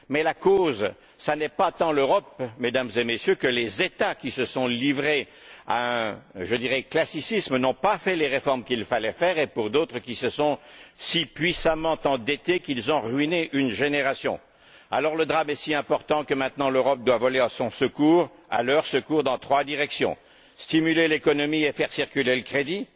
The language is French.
Mais la cause, ça n'est pas tant l'Europe, Mesdames et Messieurs, que les États qui se sont livrés à un classicisme et n'ont pas fait les réformes qu'il fallait faire, ou d'autres qui se sont si puissamment endettés qu'ils ont ruiné une génération. Alors, le drame est si important que maintenant l'Europe doit voler à leur secours dans trois directions stimuler l'économie et faire circuler le crédit,